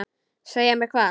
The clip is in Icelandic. Segja mér hvað?